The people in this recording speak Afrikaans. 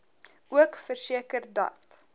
ook verseker dat